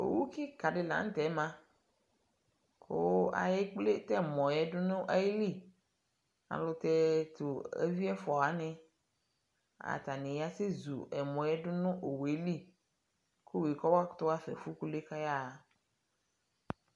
Owukika di lanutɛ maa kuu ayekple tɛmɔɔ du nayili ayɛlutɛɛ tu eviɛfuawani Atanani yasɛƶu ɛmɔɛ dunu owueli ku owue kɔmakutu wafa nefukulue kayawa